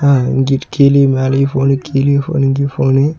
அ இங்கிட்டு கீழியு மேலயு போன்னு . கீழியு போன்னு இங்கியு போன்னு .